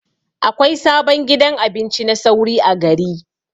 Akwai sabon gidan abinci na sauri a gari.